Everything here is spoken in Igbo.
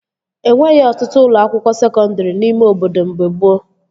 E nweghị ọtụtụ ụlọ akwụkwọ sekọndri n'ime obodo mgbe gboo